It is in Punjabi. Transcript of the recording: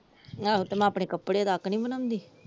ਆਹੋ ਤੇ ਮੈ ਆਪਣੇ ਕੱਪੜੇ ਤੱਕ ਨੀ ਬਣਾਉਂਦੀ ।